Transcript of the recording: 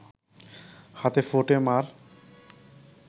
হাতে ফোঁটে মা’র